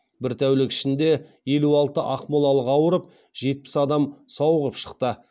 бір тәулік ішінде елу алты ақмолалық ауырып жетпіс адам сауығып шықты